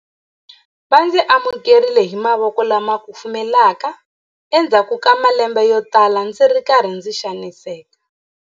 Va ndzi amukerile hi mavoko lama kufumelaka endzhaku ka malembe yotala ndzi ri karhi ndzi xaniseka.